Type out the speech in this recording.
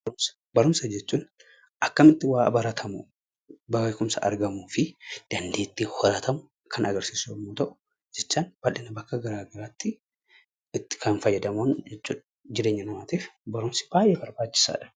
Barumsa jechuun akkamitti waa baratamu, beekumsa argamuu fi dandeettii horatamu kan agarsiisu yeroo ta'u, jecha kana bakka gara garaatti kannitti fayyadamnu jechuudha barumsi jireenya dhala namaatiif baay'ee barbaachisaadha.